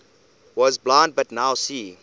was blind but now see